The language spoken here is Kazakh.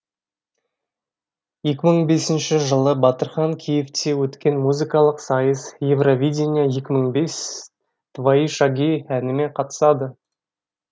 екі мың бесінші жылы батырхан киевте өткен музыкалық сайыс евровидение екі мың бес твои шаги әнімен қатысады